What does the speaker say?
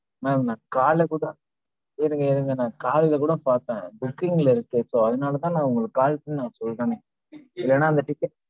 madam நான் காலைல கூட, இருங்க இருங்க. நான் காலைல கூட பாத்தேன். booking ல இருக்கு இப்ப, so அதனால தான் நான் உங்களுக்கு call பண்ணி சொல்றனே. இல்லனா அந்த ticket